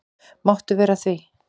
Máttu vera að því?